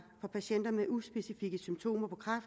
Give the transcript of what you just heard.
for patienter med uspecifikke symptomer